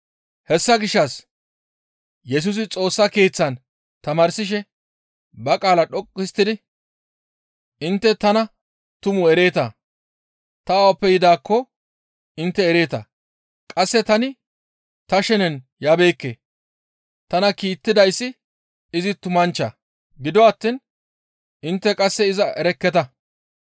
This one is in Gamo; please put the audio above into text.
Hessa gishshas Yesusi Xoossa Keeththan tamaarsishe ba qaala dhoqqu histtidi, «Intte tana tumu ereeta; ta awappe yidaakko intte ereeta. Qasse tani ta shenen yabeekke; tana kiittidayssi izi tumanchcha; gido attiin intte qasse iza erekketa.